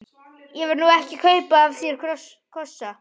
Ég var nú ekki að kaupa af þér kossa.